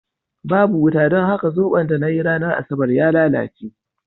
Babu wuta, don haka zoɓon da na yi a ranar Asabar ya lalace.